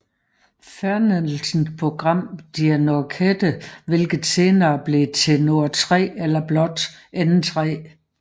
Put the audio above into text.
Fernsehprogramm der Nordkette hvilket senere blev til Nord 3 eller blot N3